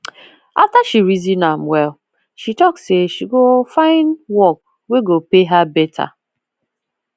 after she reason am well she talk say she go find work wey go pay her better